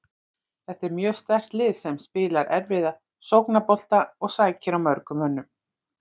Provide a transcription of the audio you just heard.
Þetta er mjög sterkt lið sem spilar erfiðan sóknarbolta og sækir á mörgum mönnum.